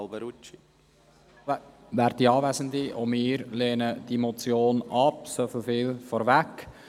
Auch wir lehnen diese Motion ab, so viel vorweg.